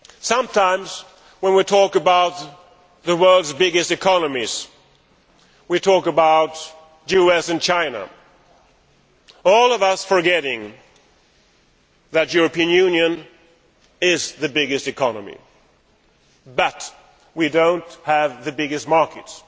Sometimes, when we talk about the world's biggest economies, we talk about the US and China, all of us forgetting that the European Union is the biggest economy, although we do not have the biggest markets.